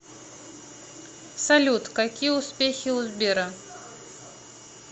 салют какие успехи у сбера